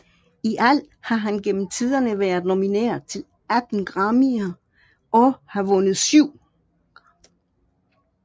I alt har han gennem tiderne været nomineret til 19 Grammyer og har vundet syv